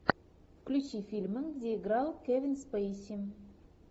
включи фильмы где играл кевин спейси